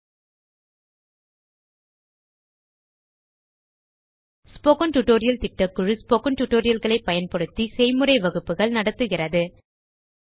spoken tutorial திட்டக்குழு spoken tutorial களை பயன்படுத்தி செய்முறை வகுப்புகள் நடத்துகிறது